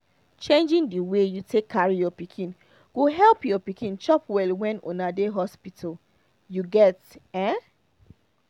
changing the way you take carry your pikin go help your pikin chop well when una dey hospital you get um